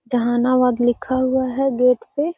जहानाबाद लिखा हुआ है गेट पे।